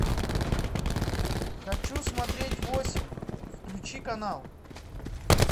хочу смотреть восемь включи канал